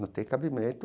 Não tem cabimento.